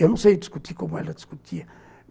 Eu não sei discutir como ela discutia.